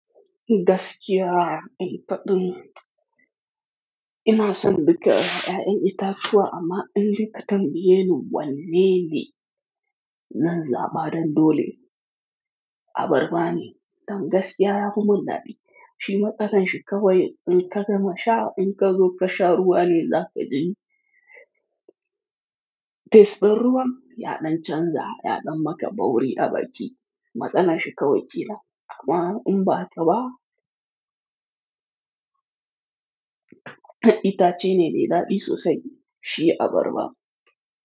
Gaskiya, in faɗin ina son duka ƴaƴan itatuwa amma indai ka tambayeni wanne ne zan zaɓa dan dole abarba ne. Dan gaskiya yafimin daɗi shi matsalar shi kawai in ka gama sha in ka zo ka sha ruwa ne za ka ji tesdin ruwan yaɗan canza, yaɗan maka bauri a baki. Matsalar shi kawai kenan amma in ba haka ba itace ne mai daɗi sosai shi abarba.